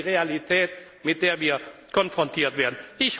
Das ist die Realität, mit der wir konfrontiert werden.